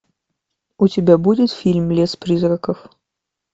у тебя будет фильм лес призраков